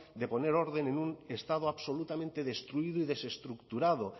de poner orden en un estado absolutamente destruido y desestructurado